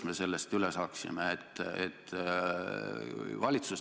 Lõpetan selle küsimuse käsitlemise.